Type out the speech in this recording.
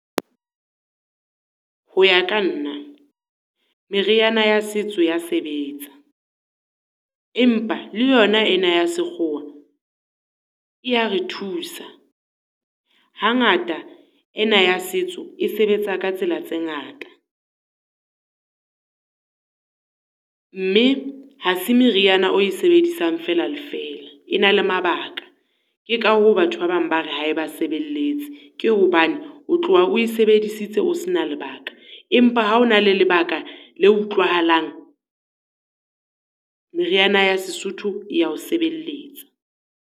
Ho ya ka nna, meriana ya setso ya sebetsa. Empa le yona ena ya sekgowa e ya re thusa. Hangata ena ya setso, e sebetsa ka tsela tse ngata, mme ha se meriana e o e sebedisang fela le fela, e na le mabaka. Ke ka hoo batho ba bang ba re ha e ba sebelletse. Ke hobane o tloha o e sebedisitse o sena lebaka, empa ha o na le lebaka le utlwahalang meriana ya Sesotho e ya o sebelletsa.